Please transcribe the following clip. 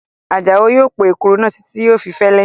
Àjàó yóò po èkuru náà títí yóò fi fẹ́lẹ́